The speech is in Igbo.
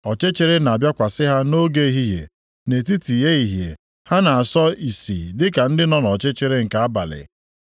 Ọchịchịrị na-abịakwasị ha nʼoge ehihie, nʼetiti ehihie ha na-asọ ìsì dịka ndị nọ nʼọchịchịrị nke abalị;